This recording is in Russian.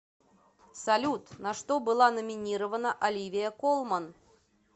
салют на что была номинирована оливия колман